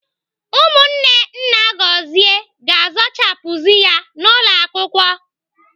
Ụmụnne nna Gọzie ga-azụchapuzi ya n'ụlọ akwụkwọ.